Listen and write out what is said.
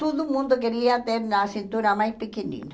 Todo mundo queria ter a cintura mais pequenina.